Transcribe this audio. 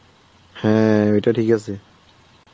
হ্যাঁ, ওইটা ঠিক আছে